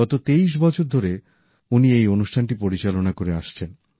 গত ২৩ বছর ধরে উনি এই অনুষ্ঠানটি পরিচালনা করে আসছেন